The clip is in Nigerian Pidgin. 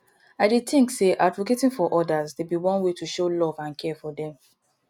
i dey think say advocating for odas dey be one way to show love and care for dem